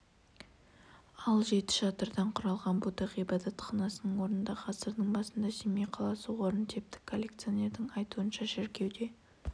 ал жеті шатырдан құралған будда ғибадатханасының орнында ғасырдың басында семей қаласы орын тепті коллекционердің айтуынша шіркеуде